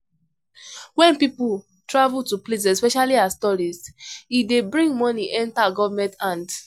When pipo travel to places especially as tourist im dey bring money enter government hand